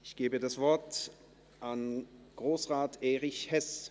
– Ich gebe das Wort an Grossrat Erich Hess.